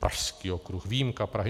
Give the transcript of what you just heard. Pražský okruh, výjimka Prahy.